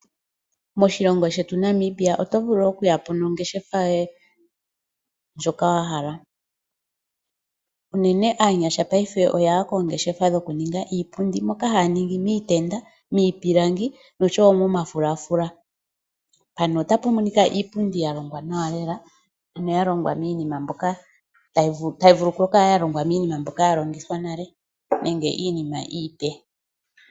Moshilongo shetu Namibia oto vulu okuyapo mongeshefa yoye ndjoka wahala, unene aanyasha payife oyaya kongeshefa dhoku ninga iipundi mbyoka haningi niitenda , mipilangi nosho wo momafulafula pano otapumonika iipundi yalongwa nawa lela noyalongwa minima mbyoka tayi vulu oku kala yalongwa minima mbyoka yalongithwa nale nenge minima iipe.